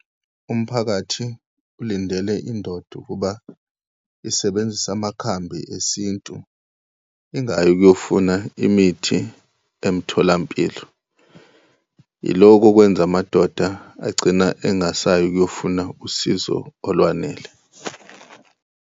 Umphakathi ulindele indoda ukuba isebenzise amakhambi esintu, ingayi ukuyofuna imithi emtholampilo. Yiloko okwenza amadoda agcina engasayi ukuyofuna usizo olwanele.